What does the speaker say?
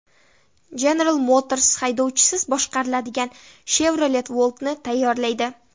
General Motors haydovchisiz boshqariladigan Chevrolet Volt’ni tayyorlaydi.